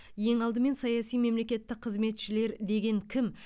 ең алдымен саяси мемлекеттік қызметшілер деген кім